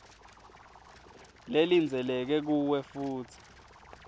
lelindzeleke kuwe futsi